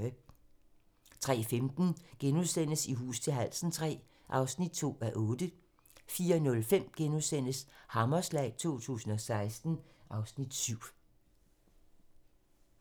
03:15: I hus til halsen III (2:8)* 04:05: Hammerslag 2016 (Afs. 7)*